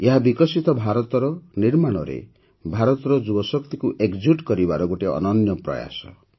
ଏହା ବିକଶିତ ଭାରତର ନିର୍ମାଣରେ ଭାରତର ଯୁବ ଶକ୍ତିକୁ ଏକଜୁଟ୍ କରିବାର ଗୋଟିଏ ଅନନ୍ୟ ପ୍ରୟାସ